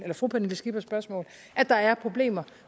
fru pernille skippers spørgsmål at der er problemer